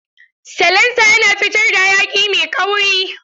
Salansa yana fitar da hayaki mai kauri.